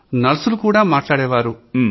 నర్సులు కూడా మాట్లాడేవాళ్లు